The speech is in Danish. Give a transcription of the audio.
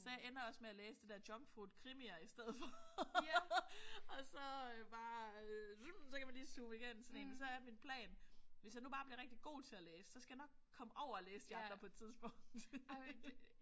Så jeg ender også med at læse de der junkfood krimier i stedet for. Og så bare så kan man lige suse igennem sådan én. Så er min plan hvis jeg nu bare bliver rigtig god til at læse så skal jeg nok kommer over at læse de andre på et tidspunkt